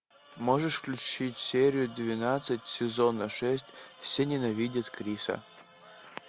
можешь включить серию двенадцать сезона шесть все ненавидят криса